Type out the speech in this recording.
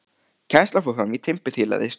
Kennslan fór fram í timburþiljaðri stofu.